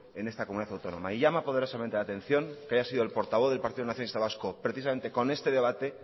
en esta comunidad autónoma y llama poderosamente la atención que haya sido el portavoz del partido nacionalista vasco precisamente con este debate